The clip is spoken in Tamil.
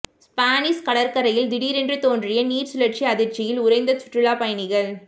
ஸ்பானிஷ் கடற்கரையில் தீடிரென்று தோன்றிய நீர் சுழற்சி அதிர்ச்சியில் உறைந்த சுற்றுலா பயணிகள்